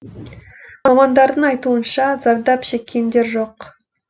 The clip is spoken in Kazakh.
мамандардың айтуынша зардап шеккендер жоқ